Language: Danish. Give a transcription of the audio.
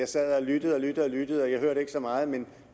sad og lyttede og lyttede og jeg hørte ikke så meget men